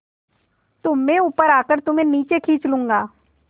तो मैं ऊपर आकर तुम्हें नीचे खींच लूँगा